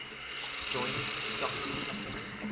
joint stock company